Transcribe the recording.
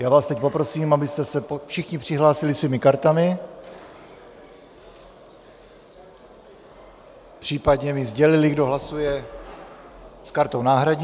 Já vás teď poprosím, abyste se všichni přihlásili svými kartami, případně mi sdělili, kdo hlasuje s kartou náhradní.